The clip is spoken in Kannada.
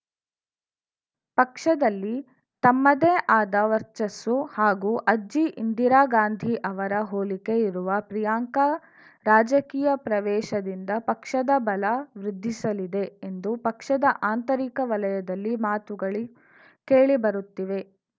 ಪಕ್ಷದಲ್ಲಿ ತಮ್ಮದೇ ಆದ ವರ್ಚಸ್ಸು ಹಾಗೂ ಅಜ್ಜಿ ಇಂದಿರಾ ಗಾಂಧಿ ಅವರ ಹೋಲಿಕೆ ಇರುವ ಪ್ರಿಯಾಂಕಾ ರಾಜಕೀಯ ಪ್ರವೇಶದಿಂದ ಪಕ್ಷದ ಬಲ ವೃದ್ಧಿಸಲಿದೆ ಎಂದು ಪಕ್ಷದ ಆಂತರಿಕ ವಲಯದಲ್ಲಿ ಮಾತುಗಳು ಕೇಳಿ ಬರುತ್ತಿವೆ